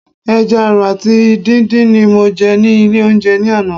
Ẹja àrọ̀ àti dùndú ni mo jẹ ní ilé oúnjẹ ní àná.